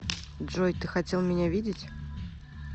джой ты хотел меня видеть